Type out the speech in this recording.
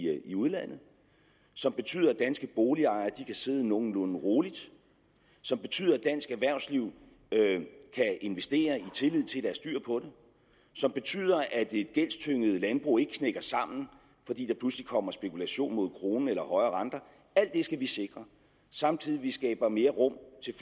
udlandet som betyder at danske boligejere kan sidde nogenlunde roligt som betyder at dansk erhvervsliv kan investere i tillid til er styr på det som betyder at et gældstynget landbrug ikke knækker sammen fordi der pludselig kommer spekulation mod kronen eller højere renter alt det skal vi sikre samtidig med at vi skaber mere rum til